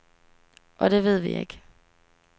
Og det ved vi ikke.